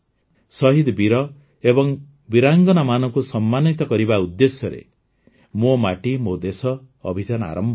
ଶହୀଦ୍ ବୀର ଏବଂ ବୀରାଙ୍ଗନାମାନଙ୍କୁ ସମ୍ମାନିତ କରିବା ଉଦ୍ଦେଶ୍ୟରେ ମୋ ମାଟି ମୋ ଦେଶ ଅଭିଯାନ ଆରମ୍ଭ ହେବ